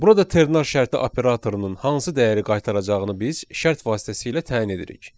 Burada ternar şərti operatorunun hansı dəyəri qaytaracağını biz şərt vasitəsilə təyin edirik.